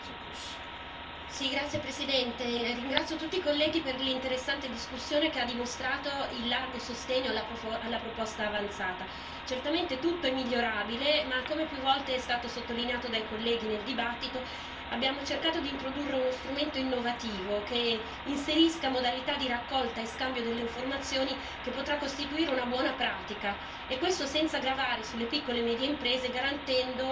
Signor Presidente, onorevoli colleghi, ringrazio tutti i colleghi per l'interessante discussione, che ha dimostrato il largo sostegno alla proposta avanzata. Certamente tutto è migliorabile ma, come più volte è stato sottolineato dai colleghi nel dibattito, abbiamo cercato di introdurre uno strumento innovativo che inserisca modalità di raccolta e scambio delle informazioni, che potrà costituire una buona pratica, e questo senza gravare sulle piccole e medie imprese, garantendo